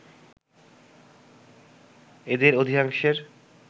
এদের অধিকাংশের